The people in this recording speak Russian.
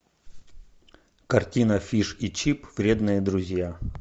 картина фиш и чип вредные друзья